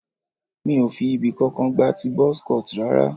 Èmi kò fi ibì kankan gba ti buzz cut rara.